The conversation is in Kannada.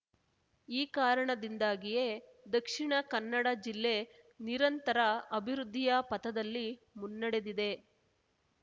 ಈ ಕಾರಣ ದಿಂದಾಗಿಯೇ ದಕ್ಷಿಣ ಕನ್ನಡ ಜಿಲ್ಲೆ ನಿರಂತರ ಅಭಿವೃದ್ಧಿಯ ಪಥದಲ್ಲಿ ಮುನ್ನಡೆದಿದೆ